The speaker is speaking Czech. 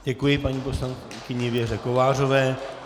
Děkuji paní poslankyni Věře Kovářové.